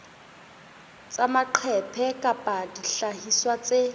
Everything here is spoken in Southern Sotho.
tsa maqephe kapa dihlahiswa tse